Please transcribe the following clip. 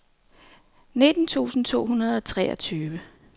nitten tusind to hundrede og treogtyve